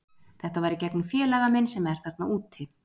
Þetta var í gegnum félaga minn sem er þarna úti.